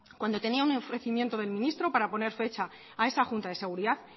cuando tenía un ofrecimiento del ministro para poner fecha a esa junta de seguridad